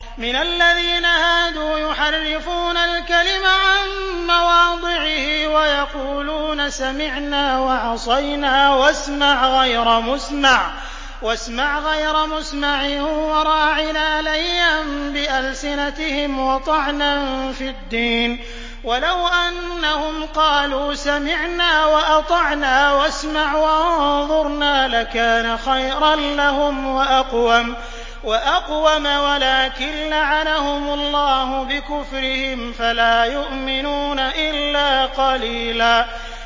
مِّنَ الَّذِينَ هَادُوا يُحَرِّفُونَ الْكَلِمَ عَن مَّوَاضِعِهِ وَيَقُولُونَ سَمِعْنَا وَعَصَيْنَا وَاسْمَعْ غَيْرَ مُسْمَعٍ وَرَاعِنَا لَيًّا بِأَلْسِنَتِهِمْ وَطَعْنًا فِي الدِّينِ ۚ وَلَوْ أَنَّهُمْ قَالُوا سَمِعْنَا وَأَطَعْنَا وَاسْمَعْ وَانظُرْنَا لَكَانَ خَيْرًا لَّهُمْ وَأَقْوَمَ وَلَٰكِن لَّعَنَهُمُ اللَّهُ بِكُفْرِهِمْ فَلَا يُؤْمِنُونَ إِلَّا قَلِيلًا